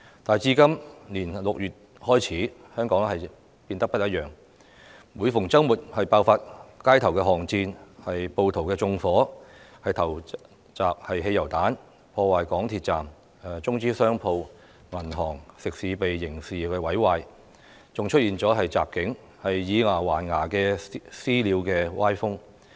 但自今年6月開始，香港變得不一樣：每逢周末爆發街頭巷戰，暴徒縱火、投擲汽油彈、破壞港鐵站；中資商鋪、銀行、食肆被刑事毀壞；更出現襲警、以牙還牙的"私了"歪風。